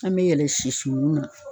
An bɛ yɛlɛ siw na.